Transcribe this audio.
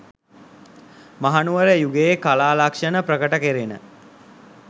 මහනුවර යුගයේ කලා ලක්‍ෂණ ප්‍රකට කෙරෙන